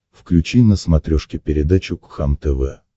включи на смотрешке передачу кхлм тв